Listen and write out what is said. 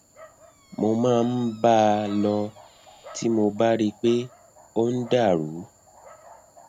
mo máa ń bá a lọ tí mo bá rí i pé ó ń dà rú